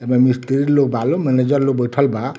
एहमे मिस्त्री लोग बा लोग मैनेजर लोग बइठल बा।